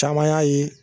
Caman y'a ye